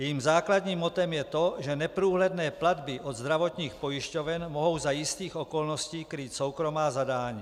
Jejím základním mottem je to, že neprůhledné platby od zdravotních pojišťoven mohou za jistých okolností krýt soukromá zadání.